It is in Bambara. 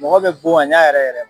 Mɔgɔ bɛ bon a ɲa yɛrɛ yɛrɛ